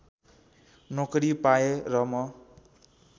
नोकरी पाएँ र म